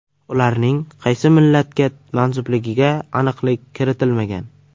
Ularning qaysi millatga mansubligiga aniqlik kiritilmagan.